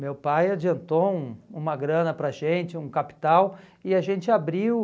Meu pai adiantou um uma grana para a gente, um capital, e a gente abriu.